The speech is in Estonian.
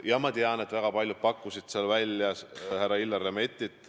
Jaa, ma tean, et väga paljud pakkusid seal välja härra Illar Lemettit.